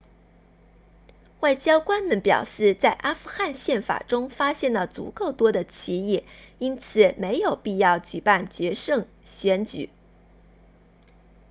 外交官们表示在阿富汗宪法中发现了足够多的歧义因此没有必要举办决胜选举